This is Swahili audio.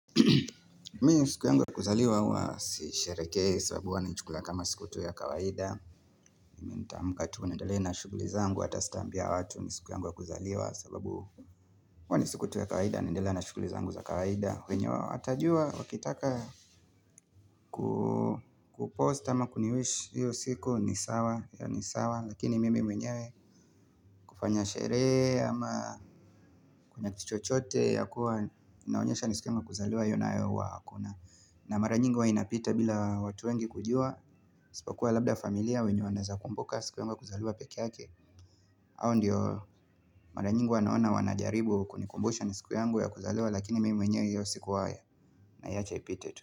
Mi siku yangu wa kuzaliwa huwa sihisherekei sababu huwanaichukulia kama siku tu ya kawaida Nita mka tu nendele na shughuli zangu ata sitambia watu ni siku yangu wa kuzaliwa sababu huwani siku tu ya kawaida naendele na shughuli zangu za kawaida wenye watajua wakitaka kupost ama kuniwish hiyo siku ni sawa Lakini mimi mwenyewe kufanya sherehe ama kuna kituchochote ya kuwa inaonyesha ni siku yangu wa kuzaliwa hiyonayo huwa hakuna na mara nyingi huwa inapita bila watu wengi kujua isipo kuwa labda familia wenye wanaeza kumbuka siku yangu kuzaliwa peke yake hao ndio mara nyingi huwa naona wanajaribu kuni kumbusha ni siku yangu ya kuzaliwa Lakini mimi wenyewe hiyo siku wae naiacha ipite tu.